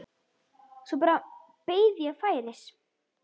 Svo bara beið ég færis.